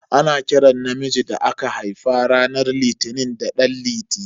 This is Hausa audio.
Ana kiran namiji da aka haifa ranar litini da dan liti.